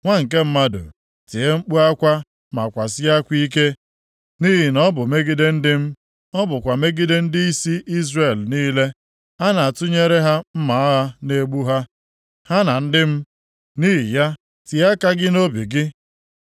Nwa nke mmadụ, tie mkpu akwa ma kwasie akwa ike, nʼihi na ọ bụ megide ndị m ọ bụkwa megide ndịisi Izrel niile. A na-atụnyere ha mma agha ga-egbu ha, ha na ndị m. Nʼihi ya, tie aka gị nʼobi gị. + 21:12 Maọbụ, tie aka nʼapata ụkwụ gị